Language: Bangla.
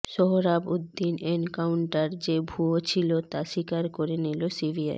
সোহরাবউদ্দিন এনকাউন্টার যে ভুয়ো ছিল তা স্বীকার করে নিল সিবিআই